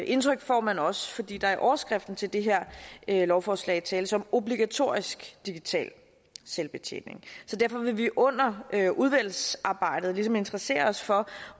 indtryk får man også fordi der i overskriften til det her lovforslag tales om obligatorisk digital selvbetjening så derfor vil vi under udvalgsarbejdet ligesom interessere os for